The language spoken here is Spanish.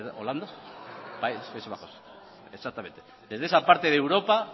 y desde esa parte de europa